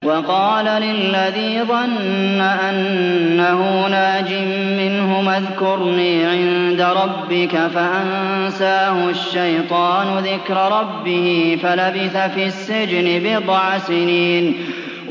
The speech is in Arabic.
وَقَالَ لِلَّذِي ظَنَّ أَنَّهُ نَاجٍ مِّنْهُمَا اذْكُرْنِي عِندَ رَبِّكَ فَأَنسَاهُ الشَّيْطَانُ ذِكْرَ رَبِّهِ فَلَبِثَ فِي السِّجْنِ بِضْعَ سِنِينَ